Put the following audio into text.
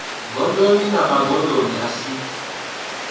gondoni na magondo a si